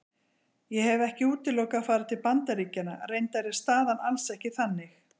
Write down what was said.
Ég hef ekki útilokað að fara til Bandaríkjanna, reyndar er staðan alls ekki þannig.